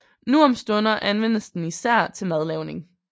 Nu om stunder anvendes den især til madlavning